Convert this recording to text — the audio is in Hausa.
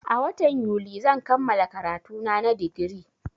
A watan yuli zan kammala karatuna na digiri